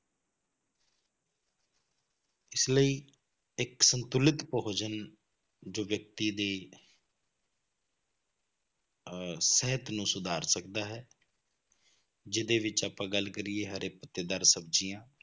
ਇਸ ਲਈ ਇੱਕ ਸੰਤੁਲਿਤ ਭੋਜਨ ਜੋ ਵਿਅਕਤੀ ਦੀ ਅਹ ਸਿਹਤ ਨੂੰ ਸੁਧਾਰ ਸਕਦਾ ਹੈ ਜਿਹਦੇ ਵਿੱਚ ਆਪਾਂ ਗੱਲ ਕਰੀਏ ਹਰੇ ਪੱਤੇਦਾਰ ਸਬਜ਼ੀਆਂ